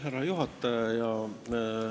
Härra juhataja!